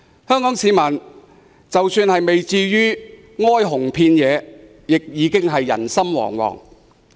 香港市民即使不至於哀鴻遍野，亦已經人心惶惶。